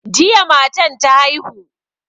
Jiya matan ta haihu.